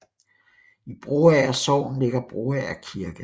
I Broager Sogn ligger Broager Kirke